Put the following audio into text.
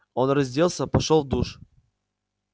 он разделся пошёл в душ